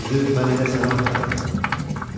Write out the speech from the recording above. Amma düzü, mən elə səni axtarırdım.